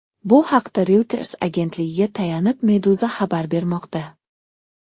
Bu haqda Reuters agentligiga tayanib, Meduza xabar bermoqda .